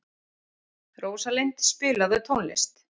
Rósalind, spilaðu tónlist.